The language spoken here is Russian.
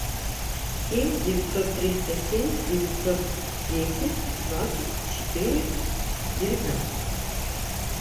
семь девятьсот триста семь девятьсот десять двадцать четыре девятнадцать